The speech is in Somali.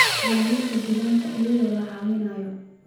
ilaalinta deegaanka iyadoo la caawinayo